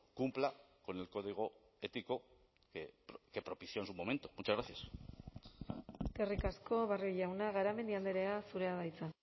cumpla con el código ético que propició en su momento muchas gracias eskerrik asko barrio jauna garamendi andrea zurea da hitza